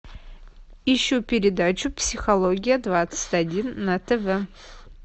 ищу передачу психология двадцать один на тв